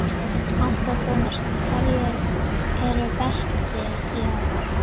Hafþór Gunnarsson: Hverjir eru bestir í ár?